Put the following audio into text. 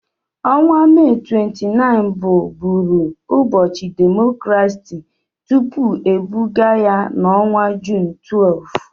Ọnwa Mee 29 bụ bụụrụ ụbọchị demokrasi tupu ebugaa ya n'ọnwa Jun 12.